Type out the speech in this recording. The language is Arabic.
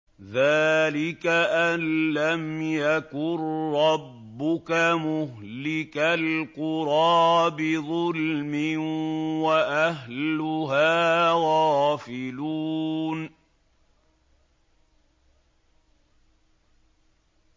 ذَٰلِكَ أَن لَّمْ يَكُن رَّبُّكَ مُهْلِكَ الْقُرَىٰ بِظُلْمٍ وَأَهْلُهَا غَافِلُونَ